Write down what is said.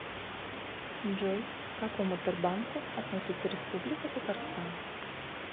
джой к какому тербанку относится республика татарстан